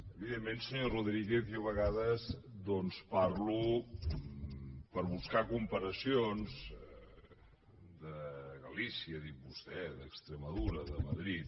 evidentment senyor rodríguez jo a vegades doncs parlo per buscar comparacions de galícia ha dit vostè d’extremadura de madrid